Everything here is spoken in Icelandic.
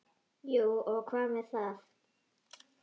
Jú og hvað með það!